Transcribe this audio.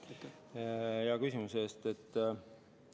Aitäh hea küsimuse eest!